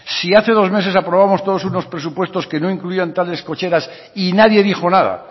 si hace dos meses aprobamos todos unos presupuestos que no incluían tales cocheras y nadie dijo nada